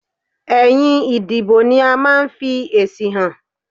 Ẹ̀yìn ìdìbò ni a máa n fi èsì han